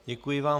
Děkuji vám.